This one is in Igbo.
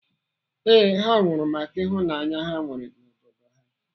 Ee, ha nwụrụ maka ịhụnanya ha nwere n'obodo ha.